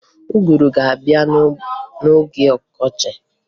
Ụgụrụ ga-abịa n'oge ọkọchi